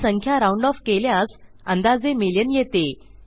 ही संख्या round off केल्यास अंदाजे मिलियन येते